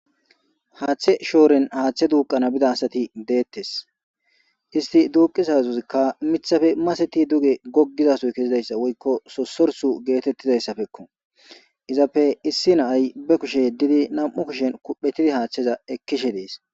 Haaththe shooren haaththe duuqqana bida asati deettes. Isti duuqqiza sohozikka miththape maseti duge goggizasoy kezizayssa woykko sossorsu geetettizayssappekko. Izappe issi na'ay be kushe yeddidi nam'u kushen kuphphettidi haththeza ekkishe dees.